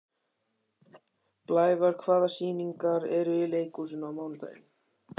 Blævar, hvaða sýningar eru í leikhúsinu á mánudaginn?